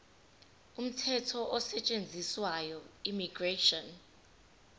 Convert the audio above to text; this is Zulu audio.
umthetho osetshenziswayo immigration